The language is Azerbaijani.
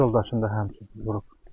Öz yoldaşını da həmçinin vurub.